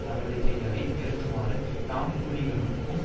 நடவடிக்கைகளை நிறுத்துமாறு நாம் புலிகளுக்கும்